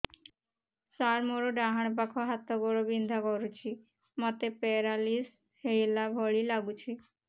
ସାର ମୋର ଡାହାଣ ପାଖ ହାତ ଗୋଡ଼ ବିନ୍ଧା କରୁଛି ମୋତେ ପେରାଲିଶିଶ ହେଲା ଭଳି ଲାଗୁଛି